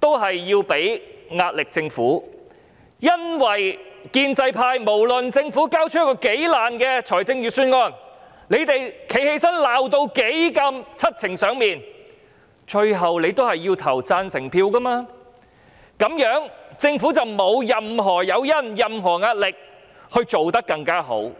都是為了向政府施壓，因為不論政府交出一個如何不濟的預算案，建制派縱使發言時罵得七情上面，最終還是要投票贊成的，那麼政府便沒有任何誘因或壓力要做得更好。